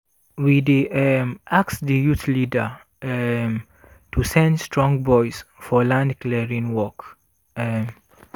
we dey um ask di youth leader um to send strong boys for land clearing work. um